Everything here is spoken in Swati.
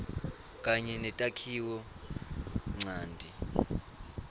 kanye netakhiwo ncanti